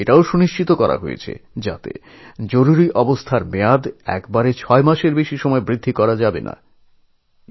সেইসঙ্গে এও বলা হল যে এই জরুরী অবস্থার মেয়াদ এককালীন ছমাসের বেশি বাড়ানো যাবে না